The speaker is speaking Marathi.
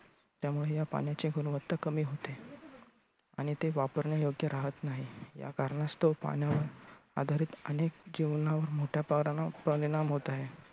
त्यामुळे ह्या पाण्याची गुणवत्ता कमी होते. आणि ते वापरण्यायोग्य राहत नाही या कारणास्तव पाण्यावर आधारीत अनेक जीवनावर मोठ्या प्रमाणावर परिणाम होत आहे.